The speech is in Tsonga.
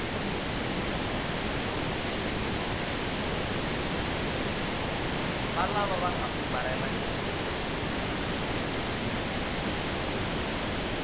valava va nga fumbarhela xuma